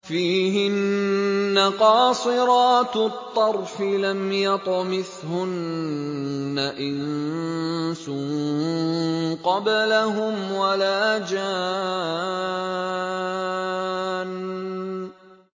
فِيهِنَّ قَاصِرَاتُ الطَّرْفِ لَمْ يَطْمِثْهُنَّ إِنسٌ قَبْلَهُمْ وَلَا جَانٌّ